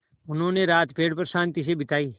उन्होंने रात पेड़ पर शान्ति से बिताई